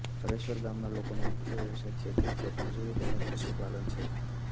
હરેશ્વર ગામના લોકોનો મુખ્ય વ્યવસાય ખેતી ખેતમજૂરી તેમ જ પશુપાલન છે